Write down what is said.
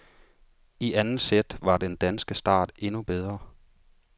I anden sæt var den danske start endnu bedre.